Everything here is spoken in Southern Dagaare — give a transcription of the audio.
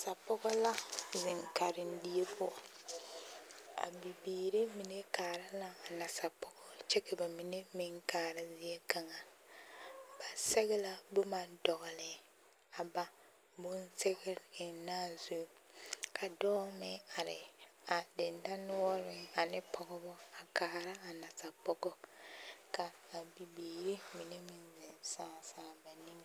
Nasapɔgɔ la zeŋ karendie poɔ a bibiiri mine kaara la a nasapɔgɔ kyɛ ka ba mine meŋ kaara zie kaŋa ba sɛge la boma dɔgele a ba bonsɛge ennaa zu ka dɔɔ meŋ are a dendɔnoɔreŋ ane pɔgebɔ a kaara a nasapɔgɔ ka a bibiiri mine meŋ zeŋ sãã sãã ba nimmie.